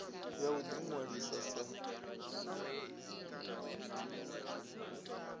ya u ḓi ṅwalisa sa